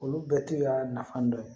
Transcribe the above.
Olu bɛɛ t'a nafa dɔ ye